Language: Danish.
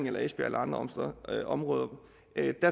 eller i andre områder